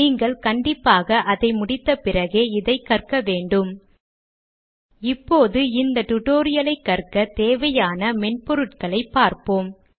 நீங்கள் கண்டிப்பாக அதை முடித்த பிறகே இதை கற்க வேண்டும் இப்போது இந்த டியூட்டோரியல் ஐ கற்க தேவையான மென்பொருட்களைப் பார்ப்போம்